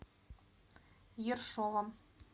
ершовом